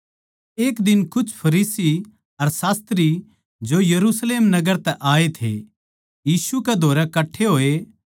एक दिन कुछ फरीसी अर शास्त्री जो यरुशलेम नगर तै आए थे यीशु कै धोरै कट्ठे होए